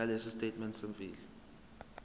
nalesi sitatimende semfihlo